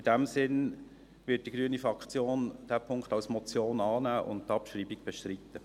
In diesem Sinn wird die grüne Fraktion diesen Punkt als Motion annehmen und die Abschreibung bestreiten.